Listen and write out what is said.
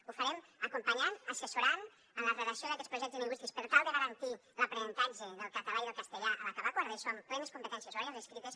ho farem acompanyant assessorant en la redacció d’aquests projectes lingüístics per tal de garantir l’aprenentatge del català i del castellà a l’acabar quart d’eso amb plenes competències orals i escrites